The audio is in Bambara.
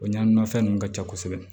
O ɲanani nafɛn ninnu ka ca kosɛbɛ